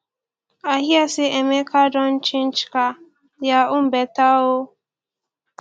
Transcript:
i hear say emeka dem don change car their own beta oo